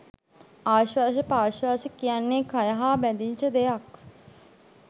ආශ්වාස ප්‍රශ්වාස කියන්නේ කය හා බැඳිච්ච දෙයක්.